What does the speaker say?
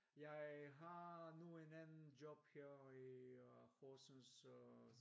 Jeg har nu en anden job her i øh Horsens